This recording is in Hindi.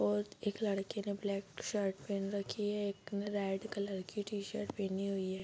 और एक लड़के ने ब्लैक शर्ट पहन रखी है एक ने रेड कलर की टी-शर्ट पहनी हुई है।